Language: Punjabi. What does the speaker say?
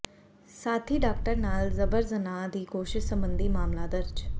ਸਾਥੀ ਡਾਕਟਰ ਨਾਲ ਜਬਰ ਜਨਾਹ ਦੀ ਕੋਸ਼ਿਸ਼ ਸਬੰਧੀ ਮਾਮਲਾ ਦਰਜ